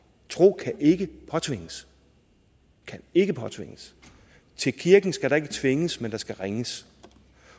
tro kan ikke påtvinges kan ikke påtvinges til kirken skal der ikke tvinges men der skal ringes